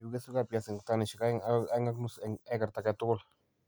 Egu kesweegap piasinik tanisiek aeng' agoi 2.5 eng' ekarik age tugul.